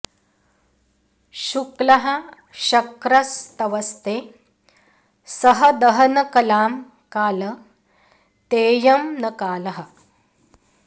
शुक्लः शक्र स्तवस्ते सह दहन कलां काल तेऽयं न कालः